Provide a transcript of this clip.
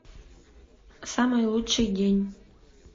самый лучший день